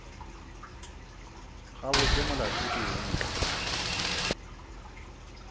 gabotse molato ke eng na